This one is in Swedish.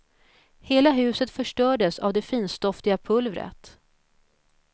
Hela huset förstördes av det finstoftiga pulvret.